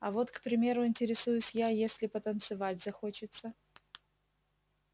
а вот к примеру интересуюсь я если потанцевать захочется